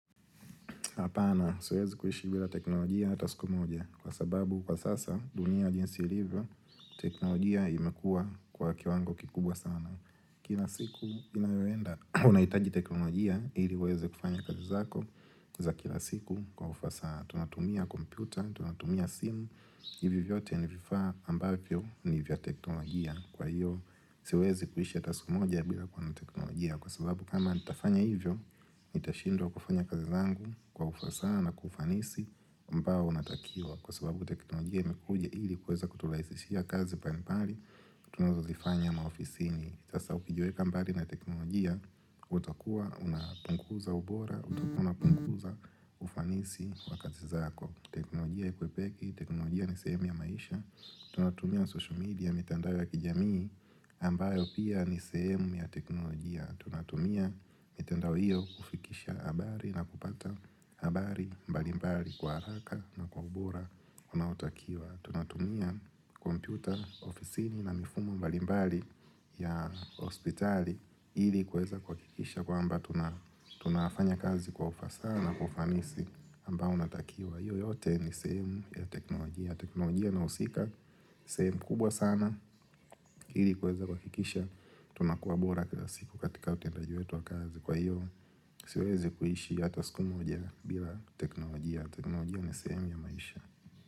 Apana, siwezi kuishi bila teknolojia hata suku moja kwa sababu kwa sasa dunia jinsi hivyo, teknolojia imekua kwa kiwango kikubwa sana. Kila siku unahitaji teknolojia ili uweze kufanya kazi zako za kila siku kwa ufasaha tunatumia kompyuta, tunatumia simu. Hivi vyote ni vifaa ambavyo ni vya teknolojia kwa hivyo, siwezi kuishi ata suku moja bila teknolojia kwa sababu kama nitafanya hivyo, nitashindwa kufanya kazi zangu kwa ufasaha na ufanisi ambao unatakiwa kwa sababu teknolojia imekuja ili kuweza kuturahisishia kazi mbalimbali tunazo zifanya maofisini sasa ukijuweka mbali na teknolojia utakuwa unapunguza ubora utakuwa unapunguza ufanisi wa kazi zako teknolojia ikwepeki, teknolojia ni sehemu ya maisha tunatumia social media, mitandao ya kijamii ambayo pia ni sehemu ya teknolojia. Tunatumia mitandao hiyo kufikisha habari na kupata habari mbalimbali kwa haraka na kwa ubora unautakiwa. Tunatumia kompyuta ofisini na mifumo mbalimbali ya hospitali ili kuweza kuhakikisha kwamba tunafanya kazi kwa ufasaha na ufanisi ambao unatakiwa hiyo yote ni semu ya teknolojia. Teknolojia inahusika semu kubwa sana. Ili kuweza kuhakikisha tunakuwa bora kila siku katika utendaji wetu wa kazi. Kwa hivyo siwezi kuishi hata sku moja bila teknolojia. Teknolojia ni semu ya maisha.